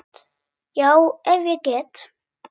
Já, ef ég get.